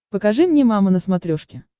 покажи мне мама на смотрешке